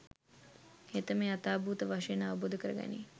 හෙතෙම යථාභූත වශයෙන් අවබෝධ කරගනියි